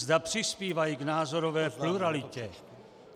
Zda přispívají k názorové pluralitě.